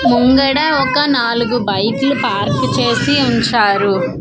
ముంగడ ఒక నాలుగు బైకులు పార్క్ చేసి ఉంచారు.